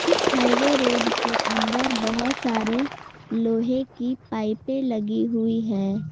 इस highway road के अंदर बहुत सारे लोहे की पाइपे लगी हुई है।